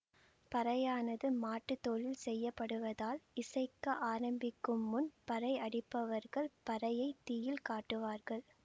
பறையானது மாட்டுத்தோலில் செய்யப்படுவதால் இசைக்க ஆரம்பிக்கும் முன் பறையடிப்பவர்கள் பறையைத் தீயில் காட்டுவார்கள்